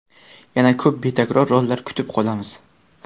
Yana ko‘p betakror rollar kutib qolamiz.